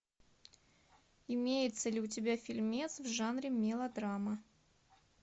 имеется ли у тебя фильмец в жанре мелодрама